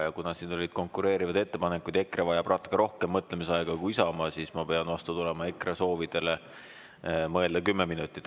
Ja kuna siin olid konkureerivad ettepanekud, EKRE vajab natuke rohkem mõtlemisaega kui Isamaa, siis ma pean vastu tulema EKRE soovile mõelda kümme minutit.